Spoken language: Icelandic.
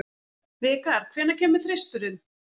Vikar, hvenær kemur þristurinn?